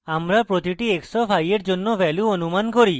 আমরা প্রতিটি x of i we value অনুমান করি